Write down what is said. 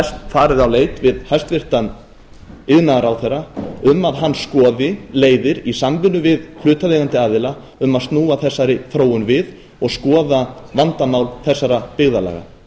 farið á leit við hæstvirtur iðnaðarráðherra um að hann skoði leiðir í samvinnu við hlutaðeigandi aðila um að snúa þessari þróun við og skoða vandamál þessara byggðarlaga